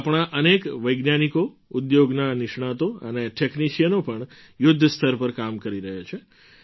આપણા અનેક વૈજ્ઞાનિકો ઉદ્યોગના નિષ્ણાતો અને ટૅક્નિશિયનો પણ યુદ્ધ સ્તર પર કામ કરી રહ્યા છે